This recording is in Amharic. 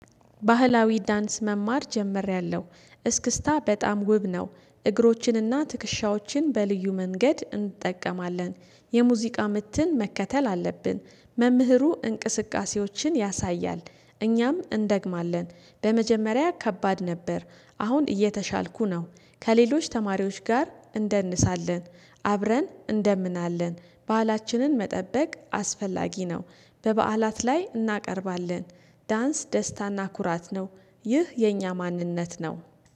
ባህላዊ ዳንስ መማር ጀምሬለሁ እስክስታ በጣም ውብ ነው። እግሮችንና ትክሻዎችን በልዩ መንገድ እንጠቀማለን። የሙዚቃ ምትን መከተል አለብን። መምህሩ እንቅስቃሴዎችን ያሳያል። እኛም እንደግማለን በመጀመሪያ ከባድ ነበር። አሁን እየተሻልኩ ነው። ከሌሎች ተማሪዎች ጋር እንደንሳለን። አብረን እንደምናለን ባህላችንን መጠበቅ አስፈላጊ ነው። በበዓላት ላይ እናቀርባለን። ዳንስ ደስታና ኩራት ነው። ይህ የኛ ማንነት ነው።